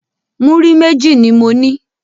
Muri meji ni mo ní